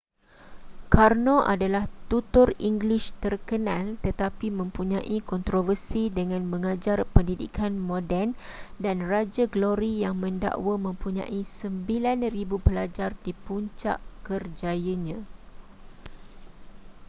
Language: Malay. karno adalah tutor english terkenal tetapi mempunyai kontroversi dengan mengajar pendidikan moden dan raja glory yang mendakwa mempunyai 9,000 pelajar di puncak kerjayanya